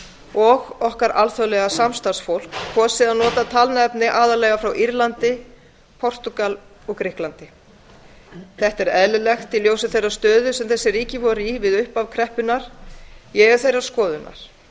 og okkar alþjóðlega samstarfsfólk kosið að nota talnaefni aðallega frá írlandi portúgal og grikklandi þetta er eðlilegt í ljósi þeirrar stöðu sem þessi ríki voru í við upphaf kreppunnar ég er þeirrar skoðunar